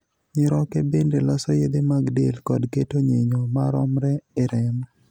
Nyiroke bende loso yedhe mag del kod keto nyinyo maromre e remo.